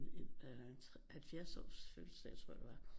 En 70-års fødselsdag tror jeg det var